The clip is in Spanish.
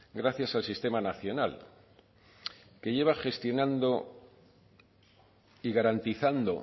gracias al sistema nacional que lleva gestionando y garantizando